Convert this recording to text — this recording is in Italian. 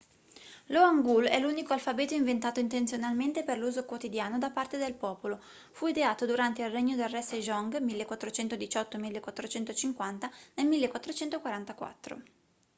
lo hangeul è l'unico alfabeto inventato intenzionalmente per l'uso quotidiano da parte del popolo. fu ideato durante il regno del re sejong 1418-1450 nel 1444